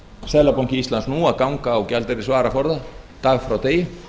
seðlabanki íslands nú að ganga á gjaldeyrisvaraforða dag frá degi